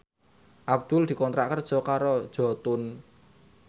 Abdul dikontrak kerja karo Jotun